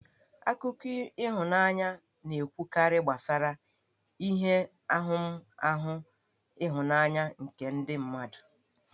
Akụkọ ihụnanya na-ekwukarị gbasara ihe ahụmahụ ịhụnanya nke ndị mmadụ.